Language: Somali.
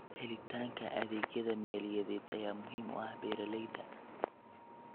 Helitaanka adeegyada maaliyadeed ayaa muhiim u ah beeralayda.